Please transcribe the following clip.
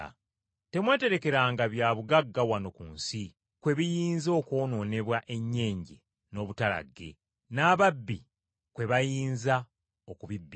“Temweterekeranga byabugagga wano ku nsi kwe biyinza okwonoonebwa ennyenje n’obutalagge, n’ababbi kwe bayinza okubibbira.